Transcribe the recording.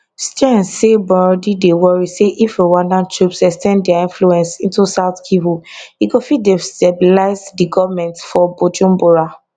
stearns say burundi dey worry say if rwandan troops ex ten d dia influence into south kivu e go fit destabilize di goment for bujumbura